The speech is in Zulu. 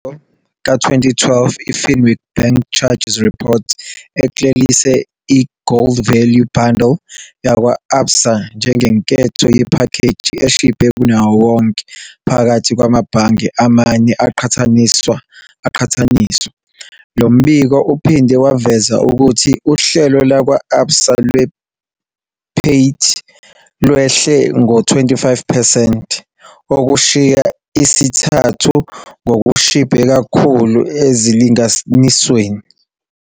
Umbiko ka-2012, i-Finweek Bank Charges Report uklelise i-Gold Value Bundle yakwa-Absa njengenketho yephakheji eshibhe kunawo wonke phakathi kwamabhange amane aqhathaniswa. Lo mbiko uphinde waveza ukuthi uhlelo lwakwa-Absa lwe-PAYT lwehle ngo-25 percent, okushiya isithathu ngokushibhe kakhulu ezilinganisweni.